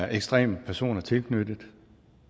ekstreme personer tilknyttet